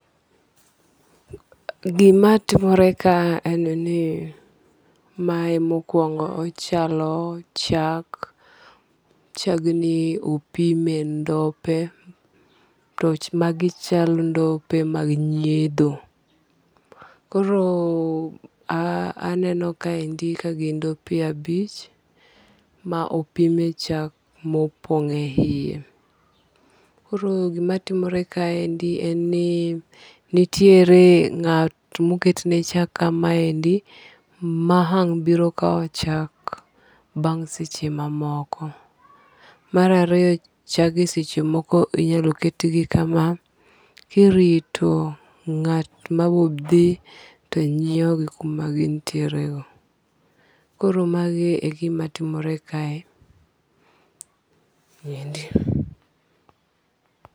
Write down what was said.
Gima timore ka en ni mae mokwongo ochalo chak. chagni opime ndope to magi chalo ndope mag nyiedho. Koro a aneno kaendi ka gin ndope abich opime chak mopong' eiye. Koro gima timore kaendni en ni nitiere ng'at moketne chak kamaendi ma ang' biro kawo chak bang' seche mamoko .Mar ariyo chage seche moko inyalo ketgi kama kirito ng'at moro obi tonyiewo gi kuma gintiere no. Koro magi e gima timore kae endi.